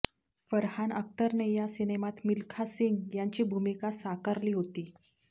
फरहान अख्तरने या सिनेमात मिल्खा सिंग यांची भूमिका साकारली होती